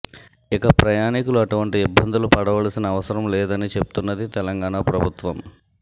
ఇక ప్రయాణికులు అటువంటి ఇబ్బందులు పడవలసిన అవసరం లేదని చెప్తున్నది తెలంగాణ ప్రభుత్వం